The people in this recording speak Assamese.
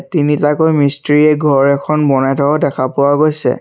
তিনিটাকৈ মিষ্ট্ৰীয়ে ঘৰ এখন বনাই থকা দেখা পোৱা গৈছে।